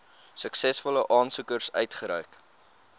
suksesvolle aansoekers uitgereik